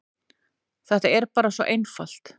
Þetta er bara svo einfalt.